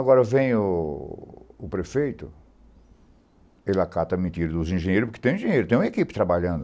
Agora vem o o prefeito, ele acata a mentira dos engenheiros, porque tem engenheiro, tem uma equipe trabalhando.